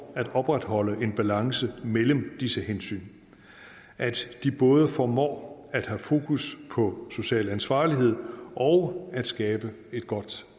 at opretholde en balance mellem disse hensyn at de både formår at have fokus på social ansvarlighed og at skabe et godt